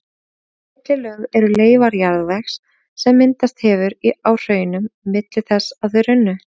Þessi millilög eru leifar jarðvegs sem myndast hefur á hraununum milli þess að þau runnu.